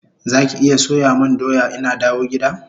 Zaki iya soya mun doya ina dawo gida?